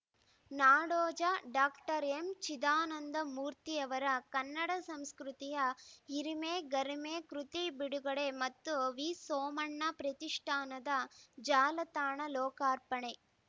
ನಾಡೋಜ doctor M Chidanandamurthy ಅವರ ಕನ್ನಡ ಸಂಸ್ಕೃತಿಯ ಹಿರಿಮೆ ಗರಿಮೆ ಕೃತಿ ಬಿಡುಗಡೆ ಮತ್ತು ವಿಸೋಮಣ್ಣ ಪ್ರತಿಷ್ಠಾನದ ಜಾಲತಾಣ ಲೋಕಾರ್ಪಣೆ